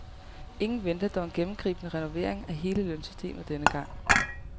Ingen venter dog en gennemgribende renovering af hele lønsystemet denne gang.